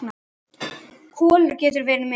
Kolur getað verið með.